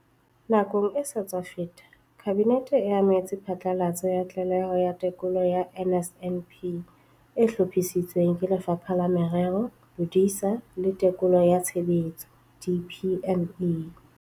Nakong e sa tswa feta, Kabinete e amohetse phatlalatso ya Tlaleho ya Tekolo ya NSNP e hlophisitsweng ke Lefapha la Merero, Bodisa le Tekolo ya Tshebetso, DPME.